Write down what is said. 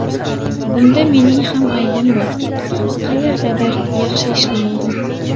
Bunda mening ham aybim bor, qayerdadir yaxshi ishlamadim.